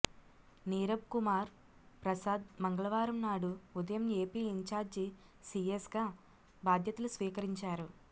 నీరబ్ కుమార్ ప్రసాద్ మంగళవారం నాడు ఉదయం ఏపీ ఇంచార్జీ సీఎస్ గా బాధ్యతలు స్వీకరించారు